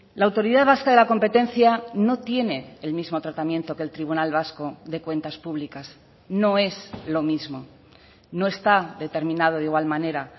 la autoridad vasca de la competencia no tiene el mismo tratamiento que el tribunal vasco de cuentas públicas no es lo mismo no está determinado de igual manera